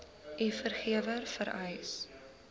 u werkgewer vereis